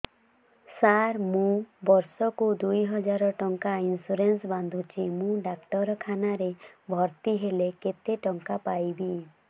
ସାର ମୁ ବର୍ଷ କୁ ଦୁଇ ହଜାର ଟଙ୍କା ଇନ୍ସୁରେନ୍ସ ବାନ୍ଧୁଛି ମୁ ଡାକ୍ତରଖାନା ରେ ଭର୍ତ୍ତିହେଲେ କେତେଟଙ୍କା ପାଇବି